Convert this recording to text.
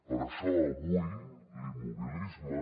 per això avui l’immobilisme